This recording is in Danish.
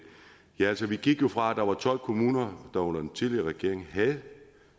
altså vi gik jo fra at der var tolv kommuner der under den tidligere regering havde